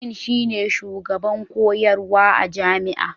Dean shine shugaban koyarwa a jami'a.